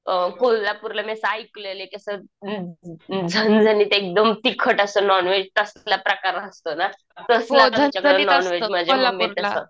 अ कोल्हापूरला मी असं ऐकलेलंये की असं झणझणीत एकदम तिखट असं नॉनव्हेज तासाला प्रकार असतो ना.